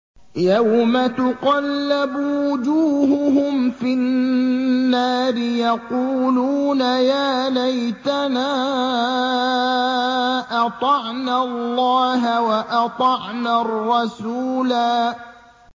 يَوْمَ تُقَلَّبُ وُجُوهُهُمْ فِي النَّارِ يَقُولُونَ يَا لَيْتَنَا أَطَعْنَا اللَّهَ وَأَطَعْنَا الرَّسُولَا